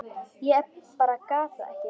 Ég bara gat það ekki.